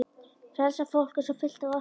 Frelsað fólk er svo fullt af orku.